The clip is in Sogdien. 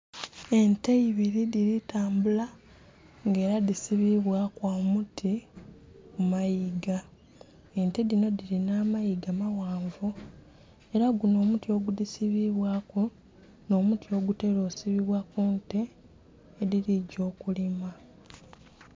Ente ibili dhili tambula nga ela dhisibibwaku omuti kumayiga, ente dhinho dhilinha amayiga amaghanvu, ela gunho omuti ogudhisibibwa nh'omuti ogutela okusibibwa ku nte edhiligya okulima.